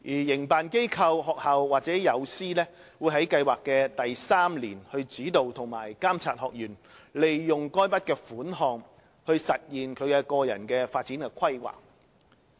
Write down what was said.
營辦機構/學校和友師會在計劃的第三年，指導及監察學員利用該筆款項實現其個人發展規劃。